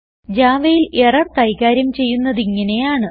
Javaയിൽ error കൈകാര്യം ചെയ്യുന്നതിങ്ങനെയാണ്